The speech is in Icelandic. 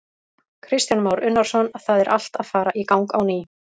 Kristján Már Unnarsson: Það er allt að fara í gang á ný?